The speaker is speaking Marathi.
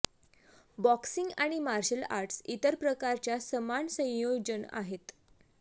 बॉक्सिंग आणि मार्शल आर्ट्स इतर प्रकारच्या समान संयोजन आहेत